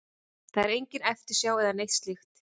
Það er engin eftirsjá eða neitt slíkt.